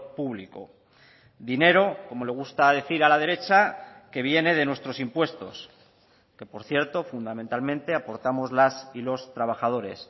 público dinero como le gusta decir a la derecha que viene de nuestros impuestos que por cierto fundamentalmente aportamos las y los trabajadores